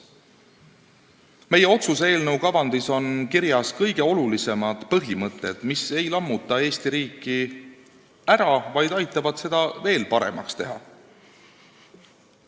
Meie otsuse eelnõu kavandis on kirjas kõige olulisemad põhimõtted, mis ei lammuta Eesti riiki ära, vaid aitavad seda veel paremaks teha.